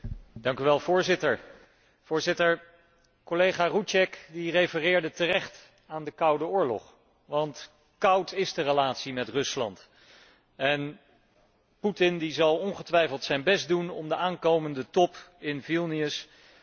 Collega Rouček refereerde terecht aan de koude oorlog, want koud is de relatie met Rusland en Putin zal ongetwijfeld zijn best doen om op de aankomende top in Vilnius de temperatuur beneden het vriespunt te krijgen.